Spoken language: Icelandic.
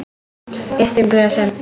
Lyftum glösum!